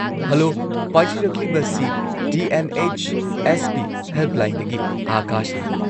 Hello! ꯄꯥꯏꯖꯔꯛꯂꯤꯕꯁꯤ T. N. H. S. P. ꯍꯦꯜꯞꯂꯥꯏꯟꯗꯒꯤ ꯑꯥꯀꯥꯁꯅꯤ ꯫